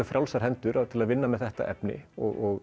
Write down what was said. frjálsar hendur til að vinna með þetta efni og